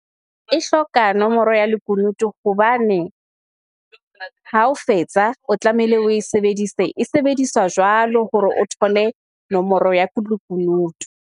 E hloka nomoro ya lekunutu hobane ha o fetsa, o tlamehile o e sebedise. E sebediswa jwalo hore o thole nomoro ya lekunutu.